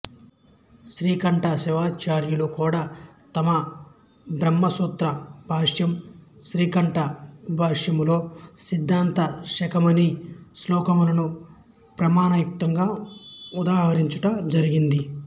శ్రీకంఠ శివాచార్యులు కూడా తమ బ్రహ్మసూత్ర భాష్యం శ్రీకంఠ భాష్యములో సిద్దాంత శిఖామణి శ్లోకములనుప్రమాణ యుక్తముగా ఉదహరించుట జరిగింది